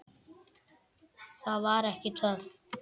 Það var ekki töff.